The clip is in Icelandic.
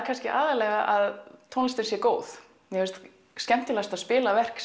kannski aðallega að tónlistin sé góð mér finnst skemmtilegt að spila verk